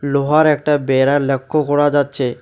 লোহার একটা বেড়া লক্ষ্য করা যাচ্ছে।